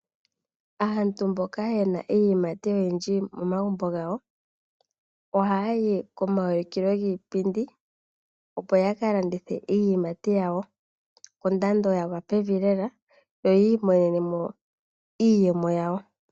Aantu mboka yena iiyimati oyindji momagumbo gawo, ohayayi komaulukilo giipindi opo yakalandithe iiyimati yawo kondando yagwa pevi lela yoyiimonenemo iiyemo yawo.